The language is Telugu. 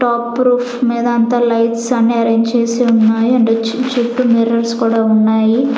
టాప్ రూఫ్ మీద అంత లైట్స్ అన్నీ అరేంజ్ చేసి ఉన్నాయి అండ్ చుట్టూ మిర్రర్స్ కూడా ఉన్నాయి.